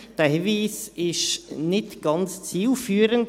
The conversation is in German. Dieser Hinweis ist nicht ganz zielführend.